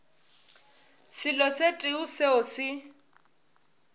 selo se tee seo se